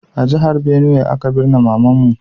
A jihar Benue aka birne mama'n mu.